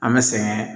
An bɛ sɛgɛn